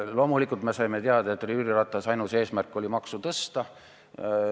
Loomulikult me saime teada, et Jüri Ratase ainus eesmärk oli maksu tõsta.